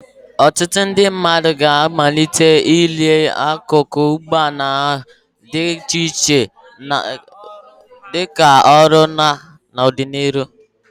Ọtụtụ ndị mmadụ ga-amalite ire akụkụ ụgbọ ala dị iche iche dị ka ọrụ ha n'ọdịnihu.